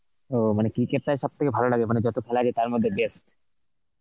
ও মানে cricket টাই সব থেকে ভালো লাগে মানে যত খেলা আছে তার মধ্যে best.